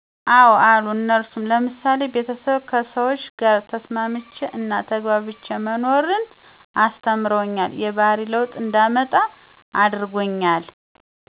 አዎ አሉ እነርሱም፦ ለምሳሌ ቤተሰብ ከሰዎች ጋር ተስማምቼ እና ተግባብቶ መኖርን፤ አስለማሪዎቼ የባህሪ ለውጥ እንዳመጣ አድርጠውኛል።